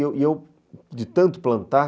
E eu e eu, de tanto plantar,